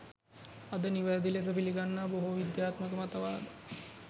අද නිවැරදි ලෙස පිලිගන්නා බොහෝ විද්‍යාත්මක මතවාද